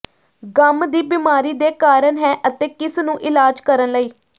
ਗੰਮ ਦੀ ਬਿਮਾਰੀ ਦੇ ਕਾਰਨ ਹੈ ਅਤੇ ਕਿਸ ਨੂੰ ਇਲਾਜ ਕਰਨ ਲਈ